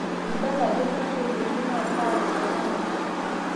Meibala ajo keng'ae eyeuni naa kaa rishata eya.